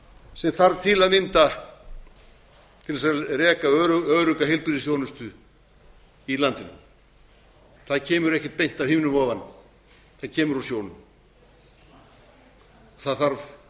sem þarf til að mynda til þess að reka örugga heilbrigðisþjónustu í landinu það kemur ekkert beint að himnum ofan það kemur úr sjónum það þarf